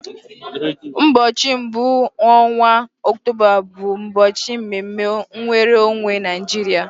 Ụbọchị mbụ n'ọnwa Ọktoba bụ ụbọchị mme mme nwere onwe Naijiria.